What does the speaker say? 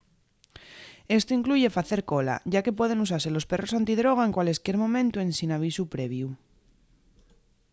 esto incluye facer cola ya que pueden usase los perros antidroga en cualesquier momentu ensin avisu previu